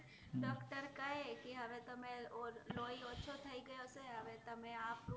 doctor કહે કે હવે તમેં લોહી ઓછો થઇ ગયો છે હવે તમે આ fruit